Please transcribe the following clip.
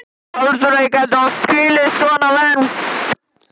Aldrei gæti hann skilið svona menn.